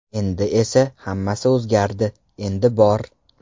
Endi esa hammasi o‘zgardi, endi bor!